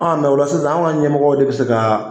An mɛ ola sisan an ka ɲɛmɔgɔw de be se ka